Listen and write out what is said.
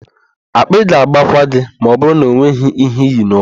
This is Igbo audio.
Akpị ga-agbakwa gị ma ọbụrụ na enweghị íhé íyì n'ụkwụ.